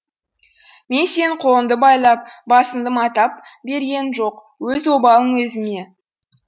мен сенің қолыңды байлап басынды матап бергенім жоқ өз обалың өзіңе